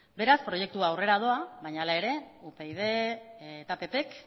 beraz proiektua aurrera doa baina hala ere upyd ppk